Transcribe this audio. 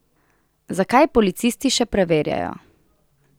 Zakaj, policisti še preverjajo.